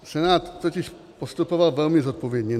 Senát totiž postupoval velmi zodpovědně.